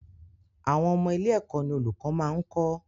Àwọn ọmọ ilé-ẹ̀kọ́ ní olùkọ́ máa ń kọ.